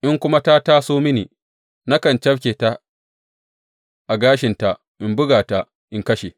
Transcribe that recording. In kuma ta taso mini, nakan cafke ta a gashinta in buga ta in kashe.